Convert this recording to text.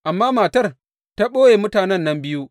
Amma matar ta ɓoye mutanen nan biyu.